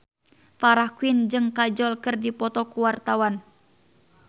Farah Quinn jeung Kajol keur dipoto ku wartawan